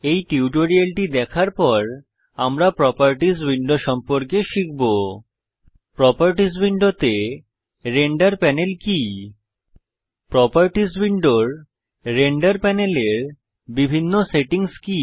এই টিউটোরিয়ালটি দেখার পর আমরা প্রোপার্টিস উইন্ডো সম্পর্কে শিখব প্রোপার্টিস উইন্ডোতে রেন্ডার প্যানেল কি প্রোপার্টিস উইন্ডোর রেন্ডার প্যানেলের বিভিন্ন সেটিংস কি